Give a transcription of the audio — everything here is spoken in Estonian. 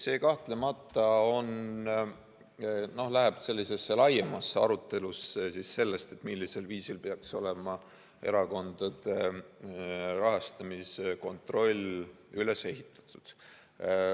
See kahtlemata viib sellise laiema aruteluni sellest, millisel viisil peaks olema erakondade rahastamise kontroll üles ehitatud.